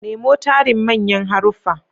Nemo tarin manyan haruffa.